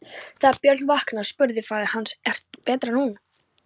Þegar Björn vaknaði spurði faðir hans: Er betra nú?